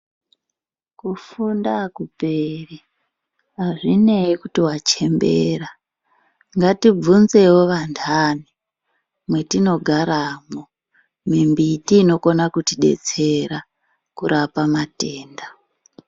Kufunda akuperi azvinei kuti wachembera Ngati vhunzewo vandani matinogaramo mimbiti inokwanisa kuti detsera kurapa matenda.